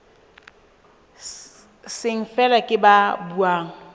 seng feela ke ba buang